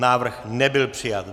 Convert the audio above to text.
Návrh nebyl přijat.